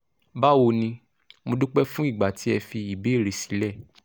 bawo ni mo dúpẹ́ fún ìgbà tí ẹ fi ìbéèrè sílẹ̀